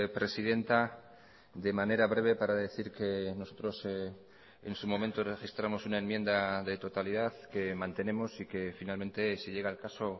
presidenta de manera breve para decir que nosotros en su momento registramos una enmienda de totalidad que mantenemos y que finalmente si llega el caso